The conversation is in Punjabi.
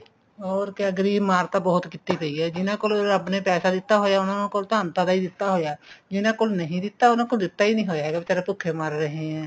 ਹੋਰ ਕਿਆ ਗਰੀਬ ਮਾਰ ਤਾਂ ਬਹੁਤ ਕੀਤੀ ਗਈ ਹੈ ਜਿਹਨਾ ਕੋਲ ਰੱਬ ਨੇ ਪੈਸਾ ਦਿੱਤਾ ਹੋਇਆ ਉਹਨਾ ਕੋਲ ਤਾਂ ਅੰਤਾਂ ਦਾ ਹੀ ਦਿੱਤਾ ਹੋਇਆ ਜਿਹਨਾ ਕੋਲ ਨਹੀਂ ਦਿੱਤਾ ਉਹਨਾ ਕੋਲ ਦਿੱਤਾ ਹੀ ਨਹੀਂ ਹੋਇਆ ਵਿਚਾਰੇ ਭੁੱਖੇ ਮਰ ਰਹੇ ਏਂ